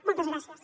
moltes gràcies